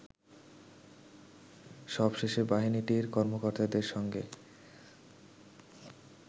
সবশেষে বাহিনীটির কর্মকর্তাদের সঙ্গে